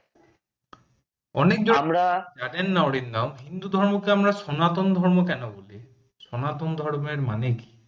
অনেকে জানেননা না অরিন্দম হিন্দু ধর্মকে আমরা সনাতন ধর্ম কেন বলি সনাতন ধর্মের মানে কী